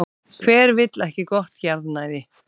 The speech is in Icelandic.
Hver vill ekki gott jarðnæði?